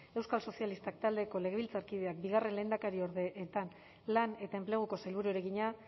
euskal sozialistak taldeko legebiltzarkideak bigarren lehendakariorde eta lan eta enpleguko sailburuari egina